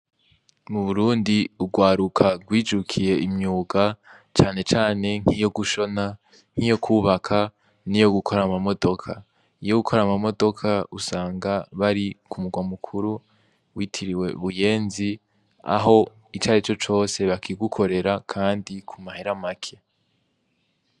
Mu burundi urwaruka rwijukiye imyuga canecane nkiyo gushona nk'iyo kwubaka ni yo gukora amamodoka, iyo gukora amamodoka usanga bari ku muga mukuru witiriwe buyenzi aho icare co cose bakigukorera, kandi ku mahera maki.